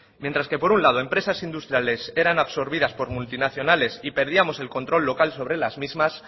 mientras que por un lado empresas industriales eran absorbidas por multinacionales y perdíamos el control local sobre las mismas